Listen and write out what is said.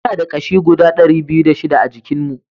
Muna da ƙashi guda dari biyu da shida a jikin mu